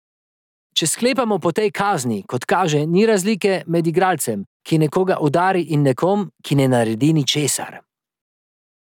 Če sklepamo po tej kazni, kot kaže, ni razlike med igralcem, ki nekoga udari in nekom, ki ne naredi ničesar.